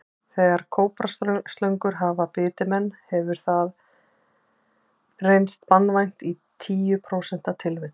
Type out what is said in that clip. Þegar kóbraslöngur hafa bitið menn hefur hefur það reynst banvænt í tíu prósentum tilvika.